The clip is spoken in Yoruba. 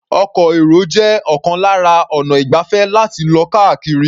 Ọkọ̀-èrò jẹ́ ọ̀kan lára ọnà ìgbafẹ́ láti lọ káàkiri.